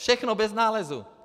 Všechno bez nálezu.